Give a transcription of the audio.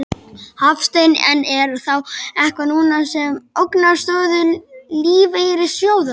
Hafsteinn: En er þá eitthvað núna sem ógnar stöðu lífeyrissjóðanna?